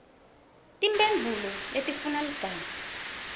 timphendvulo letifuna ligama